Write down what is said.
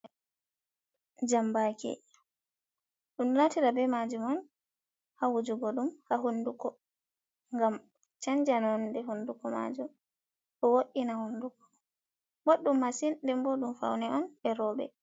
Jambake ɗum ɗo naftira be majum on ha wujugo ɗum ha hunduko, ngam chanja nonde honduko majum bo wo’ina hunduko, boɗɗum masin nden bo ɗum faune on e roɓe.